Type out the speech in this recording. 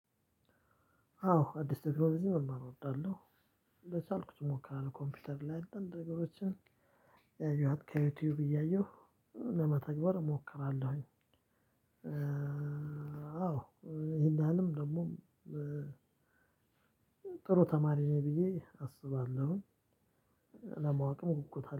አዎ አዲስ ቴክኖሎጂ መማር እወዳለሁ። በቻልኩት እሞክራለው ኮምፒውተር ላይ አንዳንድ ነገሮችን ያየኋት ከዩቲዩብ እያየሁ ለመተግበር እሞክራለሁኝ። አዎ ይሄን ያህልም ደግሞ። ጥሩ ተማሪ ነኝ ብዬ አስባለሁኝ። ለማወቅም ጉጉት አለኝ